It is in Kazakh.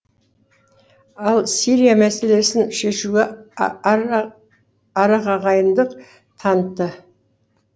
ал сирия мәселесін шешуде арағайындық танытты